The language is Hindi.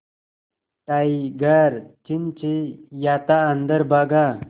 टाइगर चिंचिंयाता अंदर भागा